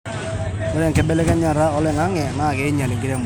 Ore enkibelekenyata oloingange naa keinyal enkiremore.